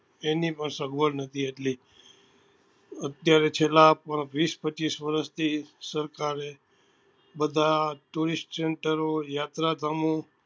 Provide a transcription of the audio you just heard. તેની પણ સગવડ નતી એટલે અત્યારે પણ છેલ્લા વીસ પચીસ વર્ષ થી સરકારે બધા tourest center ઓ યાત્રા ધામો